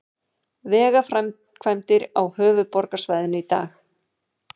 Vegaframkvæmdir á höfuðborgarsvæðinu í dag